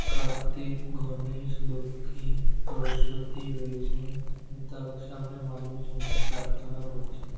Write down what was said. কার্তিক গণেশ লক্ষ্মী সরস্বতী রয়েছেন তাদের সামনে মানুষজন প্রার্থনা করছে ।